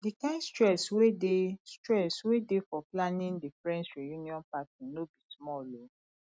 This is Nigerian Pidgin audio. di kind stress wey dey stress wey dey for planning the friends reuion party no be small o